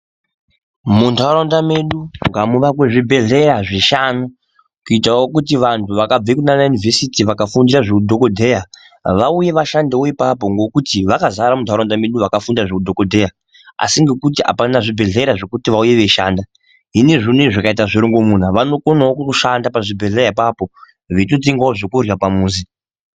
Muntaraunda medu ngamuvakwe zvibhedhleya zvishanu kuitawo kuti vantu vakabva kunana yunivhesiti vakafundira vauye vashandewo ipapo ngokuti vakazara muntaraunda medu vakafundira zveudhokodheya asi ngekuti apana zvibhedhleya zvekuti vauye veishanda. Hino zvinezvi unowu zvikaita zvirongomuna vanokonawo kushanda pazvibhedhleya apapo veitotengawo zvekurya pamuzi.